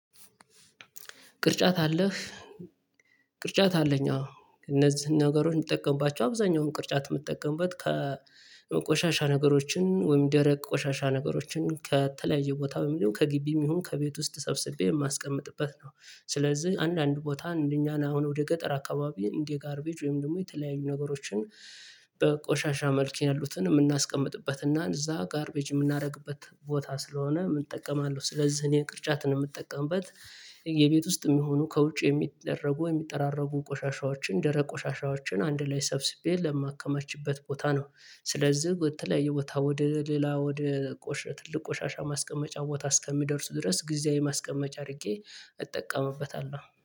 ቅርጫት አለህ? ቅርጫት አለኝ አዎ እነዚህን ነገሮች የምጠቀምባቸው አብዛኛውን ቅርጫት የምትጠቀምበት ከቆሻሻ ነገሮችን ወይም ደረቅ ቆሻሻ ነገሮችን ከተለያየ ቦታ በሚለው ከግቢም ይሁን ከቤት ውስጥ ሰብስቤ የማስቀምጥበት ነው። ስለዚህ አንዳንድ ቦታ እንደኛ ነው አሁን ወደ ገጠር አካባቢ እንዲህ ጋርቤጅ ወይም ደግሞ የተለያዩ ነገሮችን በቆሻሻ መልኬ ያሉትን የምናስቀምጥበት እና እዛ ጋርቤጅ የምናደርግበት ቦታ ስለሆነ እጠቀማለሁ ስለዚህ እኔ ቅርጫት ነው የምጠቀምበት የቤት ውስጥ የሚሆኑ ከውጭ የሚደረጉ የሚጠራረጉ ቆሻሻዎችን ደረ ቆሻሻዎችን አንድ ላይ ሰብስቤ ለማከማችበት ቦታ ነው ስለዚህ በተለያየ ቦታ ወደ ሌላ ወደ ቆሸ ትልቅ ቆሻሻ ማስቀመጫ ቦታ እስከሚደርሱ ድረስ ጊዜያዊ ማስቀመጫ አድርጌ እጠቀምበታለሁ።